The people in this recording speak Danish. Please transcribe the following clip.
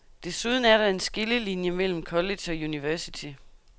Desuden er der en skillelinie mellem college og university.